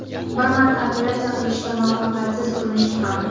Bir marta operatsiya qilishga muvaffaqiyatsiz urinishdi ham.